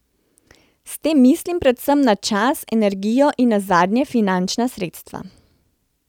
S tem mislim predvsem na čas, energijo in nazadnje finančna sredstva.